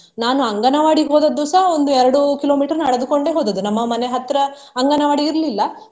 ನಾನು ಅಂಗನವಾಡಿಗೆ ಹೋದದ್ದು ಸಹ ಒಂದು ಎರಡು kilometer ನಡೆದುಕೊಂಡೆ ಹೋದದ್ದು ನಮ್ಮ ಮನೆ ಹತ್ರ ಅಂಗನವಾಡಿ ಇರ್ಲಿಲ್ಲ.